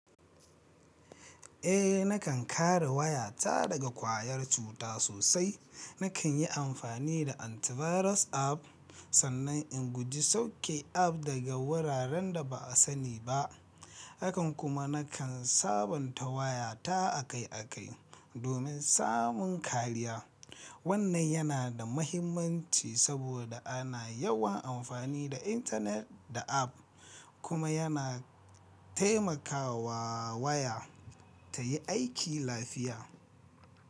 Eh nakan kare wayata daga ƙwayar cuta sosai. Nakan yi amfani da antivirus app sannan in guji sauke app daga wuraren da ba a sani ba. Akan kuma nakan sabonta wayata akai-akai domin samun kariya. Wannan yana da mahimmanci saboda ana yawan amfani da intanet da app kuma yana taimakawa waya ta yi aiki lafiya.